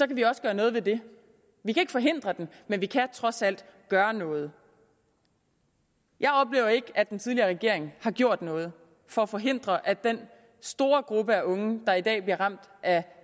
vi også gøre noget ved det vi kan ikke forhindre den men vi kan trods alt gøre noget jeg oplever ikke at den tidligere regering har gjort noget for at forhindre at den store gruppe af unge der i dag bliver ramt af